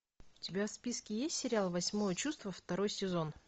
у тебя в списке есть сериал восьмое чувство второй сезон